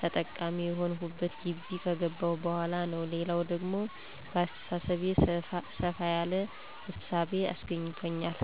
ተጠቃሚ የሆንሁት ጊቢ ከገባሁ በኋላ ነው። ሌላው ደግሞ በአሰተሳሰቤ ሰፋ ያለ እሳቤ አስገኝቶኛል።